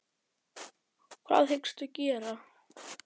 Hrund Þórsdóttir: Hvað hyggstu gera?